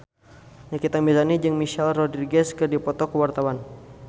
Nikita Mirzani jeung Michelle Rodriguez keur dipoto ku wartawan